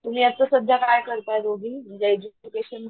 तुम्ही आत्ता सध्या काय करताय दोघी म्हणजे एज्युकेशन,